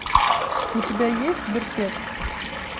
у тебя есть берсерк